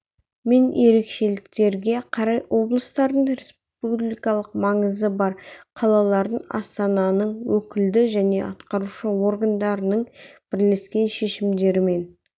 мен ерекшеліктерге қарай облыстардың республикалық маңызы бар қалалардың астананың өкілді және атқарушы органдарының бірлескен шешімдерімен